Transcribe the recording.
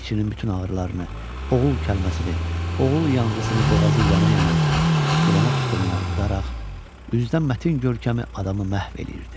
İçinin bütün ağrılarını, oğul kəlməsini, oğul yanğısını boğazı yana-yana, tüstülənə-tüstülənə udaraq, üzdən mətin görkəmi adamı məhv eləyirdi.